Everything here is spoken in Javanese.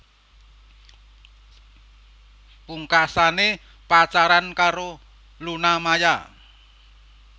Pungkasane pacaran karo Luna Maya